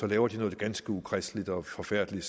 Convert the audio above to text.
laver de noget ganske ukristeligt og forfærdeligt